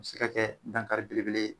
O bi se ka kɛ dankari belebele ye